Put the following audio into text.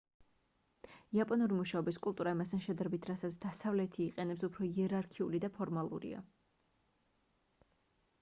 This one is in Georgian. იაპონური მუშაობის კულტურა იმასთან შედარებით რასაც დასავლეთი იყენებს უფრო იერარქიული და ფორმალურია